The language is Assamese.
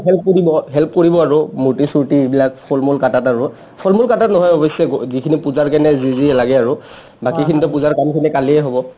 help কৰিব আৰু মূৰ্তি চুৰ্তি এইবিলাক ফল-মূল কাটাত আৰু ফল-মূল কাটাত নহয় অৱশ্য়ে পূজাৰ কাৰণে যি যি লাগে আৰু অহ্ বাকীখিনিটো পূজাৰ কামখিনি কালিয়ে হ'ব |